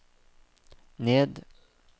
ned